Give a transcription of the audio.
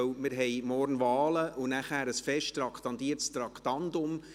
Denn wir haben morgen Wahlen und anschliessend ein fix traktandiertes Traktandum.